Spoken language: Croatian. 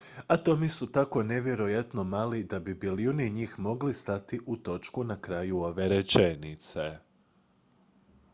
atomi su tako nevjerojatno mali da bi bilijuni njih mogli stati u točku na kraju ove rečenice